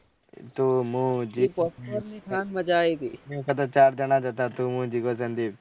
તું મુ જીગો ને એ વખત તો ચાર જાના જ હતા તું હું જીગો સંદીપ